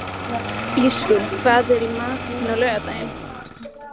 Ísrún, hvað er í matinn á laugardaginn?